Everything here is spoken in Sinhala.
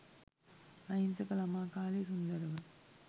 අහිංසක ළමා කාලය සුන්දරව